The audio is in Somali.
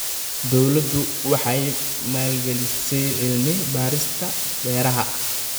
Dawladdu waxay maalgelisay cilmi-baarista beeraha.